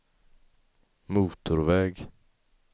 motorväg